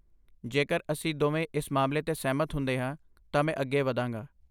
ਜੇਕਰ ਅਸੀਂ ਦੋਵੇਂ ਇਸ ਮਾਮਲੇ 'ਤੇ ਸਹਿਮਤ ਹੁੰਦੇ ਹਾਂ, ਤਾਂ ਮੈਂ ਅੱਗੇ ਵਧਾਂਗਾ।